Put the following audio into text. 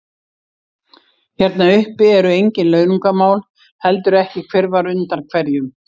Hérna uppi eru engin launungarmál, heldur ekki hver var undan hverjum.